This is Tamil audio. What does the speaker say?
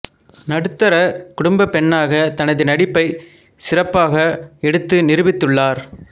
நடுத்தர குடும்ப பெண்ணாக தனது நடிப்பை சிறப்பாக எடுத்து நிரூபித்துள்ளார்